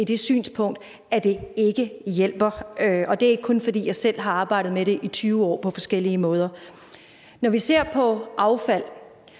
det synspunkt at det ikke hjælper og det er ikke kun fordi jeg selv har arbejdet med det i tyve år på forskellige måder når vi ser på affald